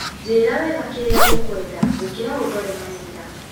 njĩra wega kĩrĩa ũkwenda gũkira ũndore manyira.